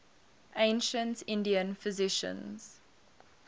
ancient indian physicians